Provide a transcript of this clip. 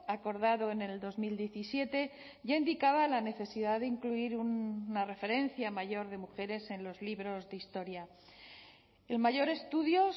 acordado en el dos mil diecisiete ya indicaba la necesidad de incluir una referencia mayor de mujeres en los libros de historia el mayor estudio